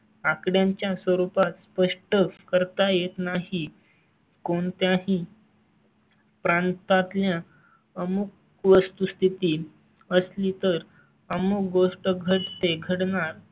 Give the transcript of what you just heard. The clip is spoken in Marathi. आकड्यांच्या स्वरूपात स्पष्ट करता येत नाही. कोणत्याही? प्रांता तल्या अमुक वस्तुस्थिती असली तर अमुक गोष्ट घडते घडणार